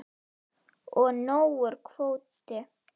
Og nógur kvóti.